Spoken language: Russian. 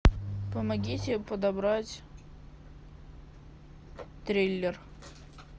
помогите подобрать триллер